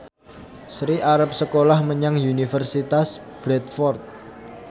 Sri arep sekolah menyang Universitas Bradford